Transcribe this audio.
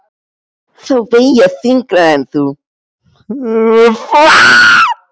Þá veg ég þyngra en þú.